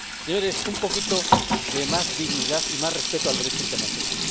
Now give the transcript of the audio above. Señores, un poquito más de dignidad y más respeto al Derecho internacional.